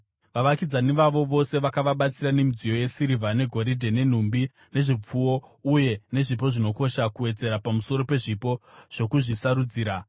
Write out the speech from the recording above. Vavakidzani vavo vose vakavabatsira nemidziyo yesirivha negoridhe, nenhumbi nezvipfuwo, uye nezvipo zvinokosha, kuwedzera pamusoro pezvipo zvokuzvisarudzira.